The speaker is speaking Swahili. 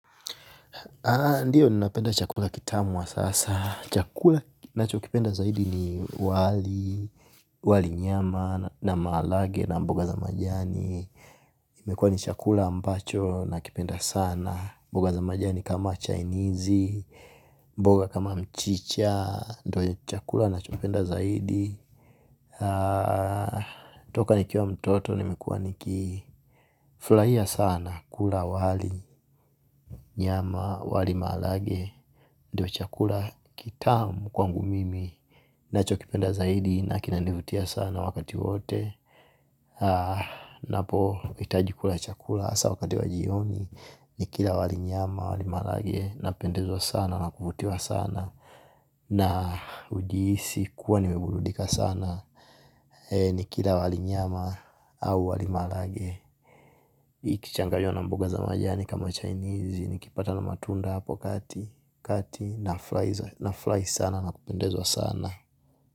Ndiyo ni napenda chakula kitamu sasa. Chakula nacho kipenda zaidi ni wali, wali nyama, na malage, na mboga za majani. Mekuwa ni chakula ambacho nakipenda sana. Mboga za majani kama chainizi, mboga kama mchicha. Ndo chakula nacho kipenda zaidi. Toka nikiwa mtoto, nimekuwa nikiflaia sana. Kula wali nyama, wali malage. Ndo chakula kitamu kwangu mimi. Nacho kipenda zaidi, na kinanivutia sana wakati wowote. Napo, itajikula chakula. Asa wakati wa jioni, nikila wali nyama, wali malage. Napendezwa sana, na kuvutiwa sana. Na ujiisi kuwa nimebuludika sana. Ni kila wali nyama au wali malage. Ikichangaywa na mboga za majani kama chinezi nikipata na matunda hapo kati naflai sana na kupendezwa sana.